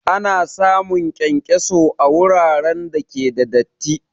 Ana samun kyankyaso a wuraren da ke da datti